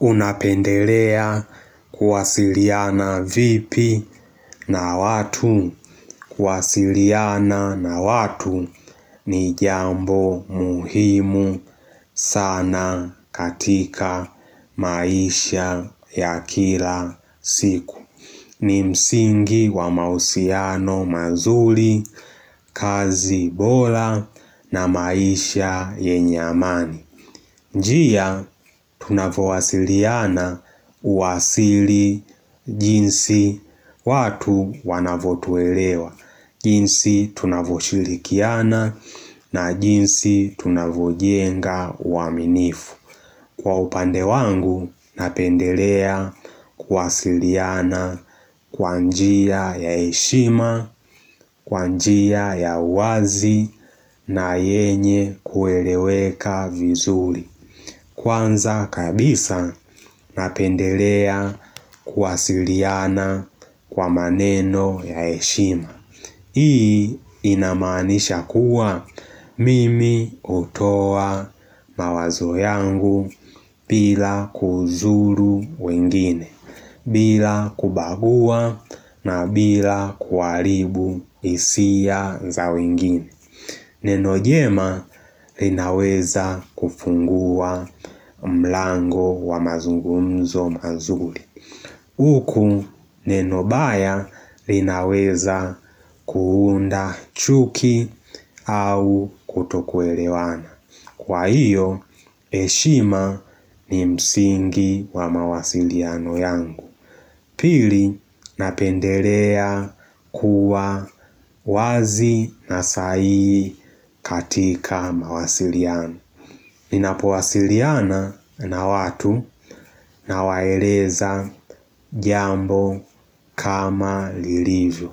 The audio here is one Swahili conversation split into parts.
Unapendelea kuwasiliana vipi na watu. Kuwasiliana na watu ni jambo muhimu sana katika maisha ya kila siku. Ni msingi wa mahusiano mazuri, kazi bora na maisha yenye amani njia tunavo wasiliana uasili jinsi watu wanavotuelewa jinsi tunavoshirikiana na jinsi tunavojenga uaminifu Kwa upande wangu, napendelea kuwasiliana kwanjia ya heshima, kwanjia ya uwazi na yenye kueleweka vizuri Kwanza kabisa, napendelea kuwasiliana kwa maneno ya heshima Hii inamanisha kuwa mimi hutoa mawazo yangu bila kuzuru wengine, bila kubagua na bila kuhalibu hisia za wengine. Neno jema linaweza kufungua mlango wa mazungumzo mazuri. Uku neno baya linaweza kuunda chuki au kutokuelewana. Kwa hiyo, heshima ni msingi wa mawasiliano yangu. Pili napendelea kuwa wazi na sahihi katika mawasiliano Ninapo wasiliana na watu na waeleza jambo kama lilivyo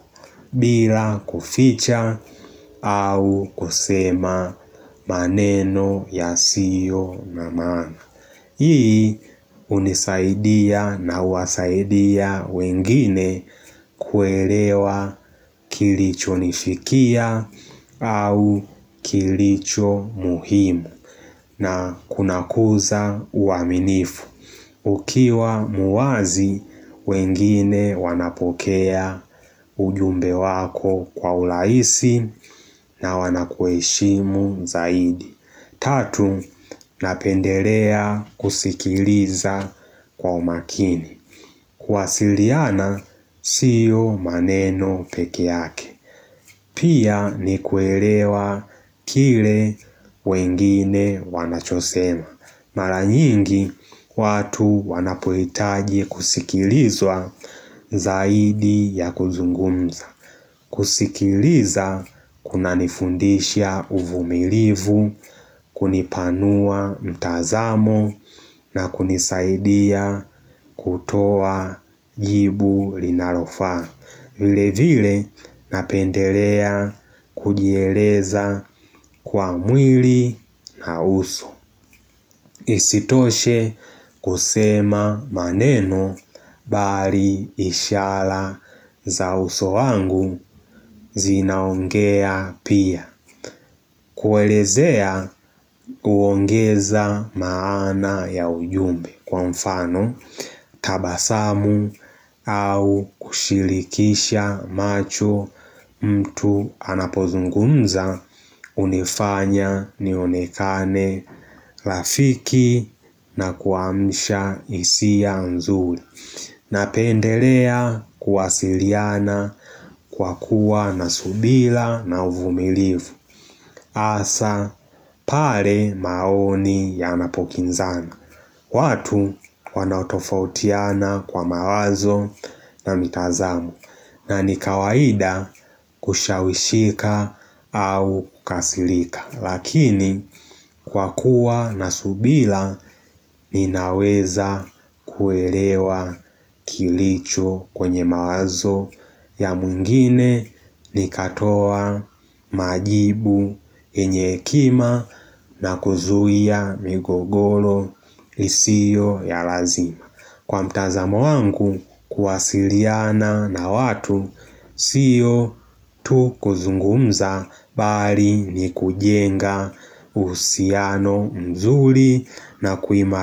bila kuficha au kusema maneno ya siyo na maana Hii hunisaidia na huwasaidia wengine kuelewa kilicho nifikia au kilicho muhimu na kunakuza uaminifu ukiwa muwazi wengine wanapokea ujumbe wako kwa urahisi na wanakuheshimu zaidi. Tatu, napendelea kusikiliza kwa umakini kuwasiliana, siyo maneno peke yake Pia ni kuelewa kile wengine wanachosema Maranyingi, watu wanapohitaji kusikilizwa zaidi ya kuzungumza kusikiliza, kuna nifundisha uvumilivu kunipanua mtazamo na kunisaidia kutoa jibu linalofaa vile vile napendelea kujieleza kwa mwili na uso Isitoshe kusema maneno bali ishara za uso wangu zinaongea pia kuelezea uongeza maana ya ujumbe kwa mfano tabasamu au kushirikisha macho mtu anapozungunza hunifanya nionekane rafiki na kuamsha hisia nzuri. Napendelea kuwasiliana kwa kuwa nasubira na uvumilivu Asa pale maoni ya napokinzana watu wanaotofautiana kwa mawazo na mitazamo na nikawaida kushawishika au kukasirika Lakini kwa kuwa na subira ninaweza kuelewa kilicho kwenye mawazo ya mwingine ni katoa majibu yenye hekima na kuzuia migogoro isiyo ya lazima. Kwa mtazamo wangu kuwasiliana na watu Sio tu kuzungumza bali ni kujenga uhusiano mzuri na kuimali.